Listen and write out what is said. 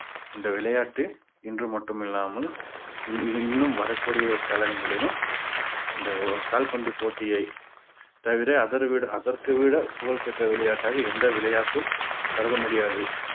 இந்த விளையாட்டு இன்று மட்டுமில்லாமல் இன்~ இன்னும் வரக்கூடிய காலங்களிலும் இந்த ஓ~ கால்பந்து போட்டியை தவிர அதர்வீட~ அதற்கு விட புகழ் பெற்ற விளையாட்டாக எந்த விளையாட்டும் கருத முடியாது